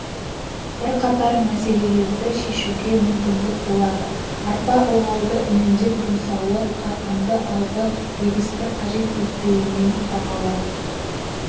бірқатар мәселелерді шешуге мүмкіндік болады арпа ылғалды үнемдеп жұмсауы қарқынды алғы егісті қажет етпеуімен бағалы